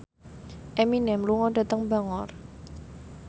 Eminem lunga dhateng Bangor